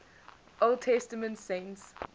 old testament saints